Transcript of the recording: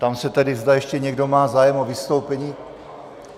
Ptám se tedy, zda ještě někdo má zájem o vystoupení.